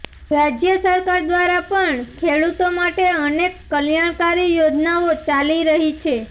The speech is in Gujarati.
રાજ્ય સરકાર દ્વારા પણ ખેડૂતો માટે અનેક કલ્યાણકારી યોજનાઓ ચાલી રહી છે